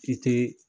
I te